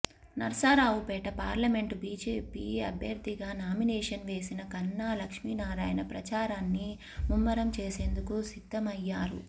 Narasaraopet parliament BJP అభ్యర్థిగా nomination వేసిన కన్నా లక్ష్మీనారాయణ ప్రచారాన్ని ముమ్మరం చేసేందుకు సిద్ధమయ్యారు